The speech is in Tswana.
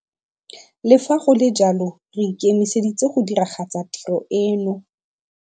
Le fa go le jalo re ikemiseditse go diragatsa tiro eno.